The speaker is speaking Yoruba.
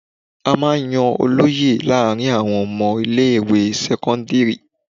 A máa ń yan olóyè láàárín àwọn ọmọ ilé ìwé sẹ́kọ́ńdírì.